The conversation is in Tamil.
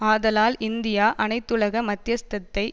ஆதலால் இந்தியா அனைத்துலக மத்தியஸ்தத்தை